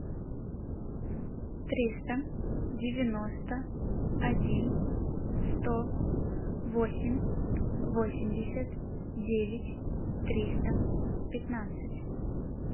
триста девяносто один сто восемь восемьдесят девять триста пятнадцать